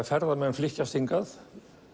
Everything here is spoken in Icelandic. ferðamenn flykkjast hingað